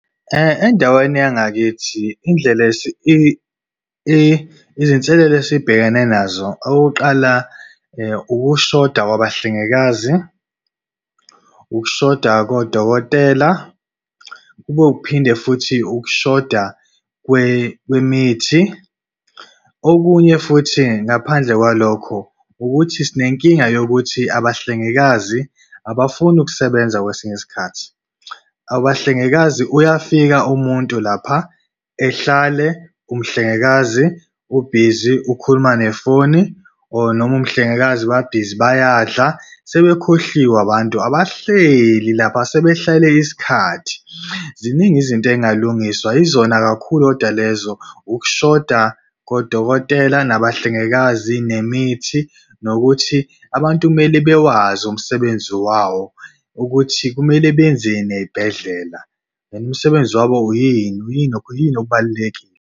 Endaweni yangakithi indlela izinselelo esibhekene nazo, okokuqala ukushoda kwabahlengikazi, ukushoda kodokotela kube ukuphinde futhi ukushoda kwemithi. Okunye futhi ngaphandle kwalokho ukuthi sinenkinga yokuthi abahlengikazi abafuni ukusebenza kwesinye isikhathi. Abahlengikazi, uyafika umuntu lapha ehlale umhlengikazi ubhizi ukhuluma nefoni or noma umhlengikazi babhizi bayadla sebekhohliwe abantu abahleli lapha asebehlale isikhathi. Ziningi izinto ey'ngalungiswa. Yizona kakhulu kodwa lezo, ukushoda kodokotela nabahlengikazi nemithi. Nokuthi abantu kumele bewazi umsebenzi wawo ukuthi kumele benzeni ey'bhedlela noma umsebenzi wabo yini yini yini okubalulekile.